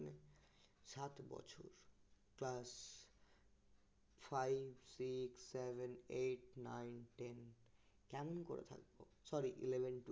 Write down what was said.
class five six seven eight nine ten কেমন করে থাকব sorry eleven twelve